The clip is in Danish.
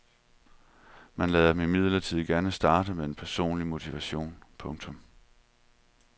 Man lader dem imidlertid gerne starte med en personlig motivation. punktum